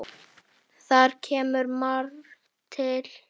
Þar kemur margt til.